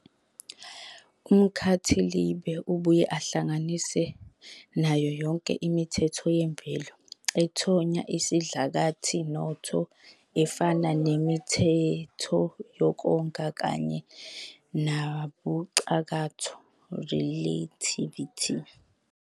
Umkhathilibe ubuye uhlanganise nayo yonke imithetho yemvelo ethonya isidlakathi noTho, efana nemithetho yokonga, kanye nobucakatho, "relativity".